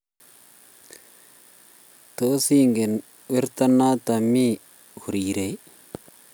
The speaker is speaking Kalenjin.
Tos, ingen werto noto mi korirei?